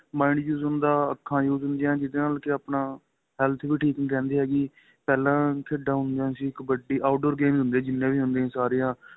mind use ਹੁੰਦਾ ਅੱਖਾਂ use ਹੁੰਦੀਆ ਜਿਹਦੇ ਨਾਲ ਕੇ ਆਪਣਾ health ਵੀ ਠੀਕ ਨਹੀਂ ਰਹਿੰਦੀ ਹੈਗੀ ਪਹਿਲਾਂ ਖੇਡਾ ਹੁੰਦੀਆ ਸੀ ਕਬੱਡੀ out door ਹੀ games ਹੀ ਹੁੰਦੀਆ ਸੀ ਜਿੰਨੀਆ ਵੀ ਹੁੰਦੀਆ ਸਾਰੀਆਂ